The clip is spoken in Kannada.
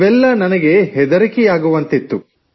ಇವೆಲ್ಲ ನನಗೆ ಹೆದರಿಕೆಯಾಗುವಂತಿತ್ತು